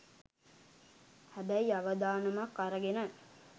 හැබැයි අවදානමක් අරගෙන